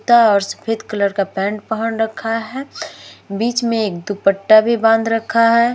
सफेद कलर का पेंट पहन रखा है। बीच में एक दुपट्टा भी बाँध रखा है।